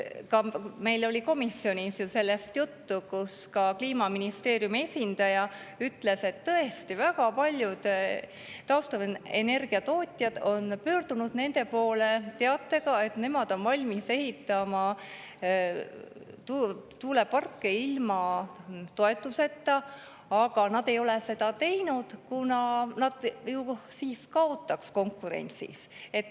Ka meil oli komisjonis sellest juttu ja Kliimaministeeriumi esindaja ütles, et tõesti väga paljud taastuvenergia tootjad on pöördunud nende poole teatega, et nad on valmis ehitama tuuleparke ilma toetuseta, aga nad ei ole seda teinud, kuna siis nad ju kaotaks konkurentsis.